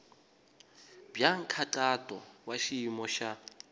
bya nkhaqato wa xiyimo xa